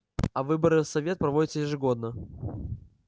а выборы в совет проводятся ежегодно